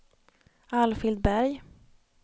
Alfhild Berg